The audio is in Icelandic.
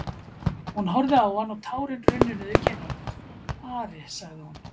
Hún horfði á hann og tárin runnu niður kinnarnar:-Ari, sagði hún.